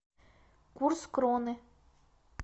курс кроны